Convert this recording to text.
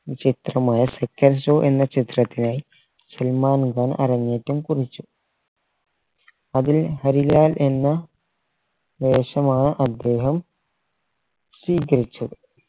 ചിത്രമായ second show എന്ന ചിത്രത്തിനായി സൽമാൻ അരങ്ങേറ്റം കുറിച്ചു അതിന് ഹരിലാൽ എന്ന വേഷമാണ് അദ്ദേഹം സ്വീകരിച്ചു